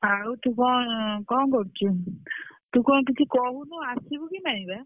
ଆଉ ତୁ କଣ କଣ କରୁଛୁ? ତୁ କଣ କିଛି କହୁନୁ ଆସିବୁ କି ନାଇଁ ବା?